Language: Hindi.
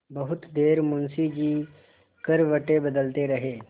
बहुत देर मुंशी जी करवटें बदलते रहे